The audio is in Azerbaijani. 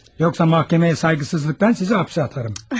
Yoxsa məhkəməyə sayğısızlıqdan sizi həbsə atarıq.